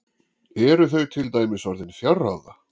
Eru þau til dæmis orðin fjárráða?